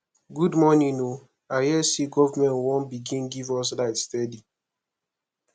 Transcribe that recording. good morning o i hear sey government wan begin give us light steady